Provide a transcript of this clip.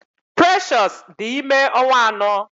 Precious dị ime ọnwa anọ.